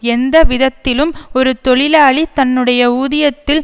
எந்த விதத்திலும் ஒரு தொழிலாளி தன்னுடைய ஊதியத்தில்